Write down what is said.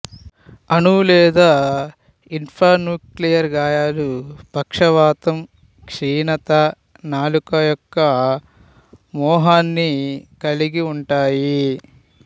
అణు లేదా ఇన్ఫ్రాన్యూక్లియర్ గాయాలు పక్షవాతం క్షీణత నాలుక యొక్క మోహాన్ని కలిగి ఉంటాయి